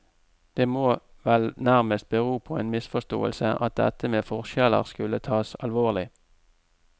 Det må vel nærmest bero på en misforståelse at dette med forskjeller skulle tas alvorlig.